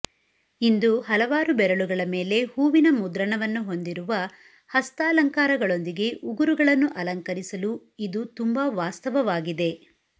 ಇಂದು ಹಲವಾರು ಬೆರಳುಗಳ ಮೇಲೆ ಹೂವಿನ ಮುದ್ರಣವನ್ನು ಹೊಂದಿರುವ ಹಸ್ತಾಲಂಕಾರಗಳೊಂದಿಗೆ ಉಗುರುಗಳನ್ನು ಅಲಂಕರಿಸಲು ಇದು ತುಂಬಾ ವಾಸ್ತವವಾಗಿದೆ